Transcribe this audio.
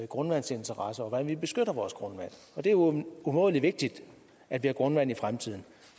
grundvandsinteresser og hvordan vi beskytter vores grundvand det er jo umådelig vigtigt at vi har grundvand i fremtiden